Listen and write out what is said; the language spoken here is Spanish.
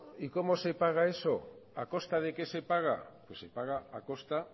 y cómo se paga eso a costa de qué se paga pues se paga a costa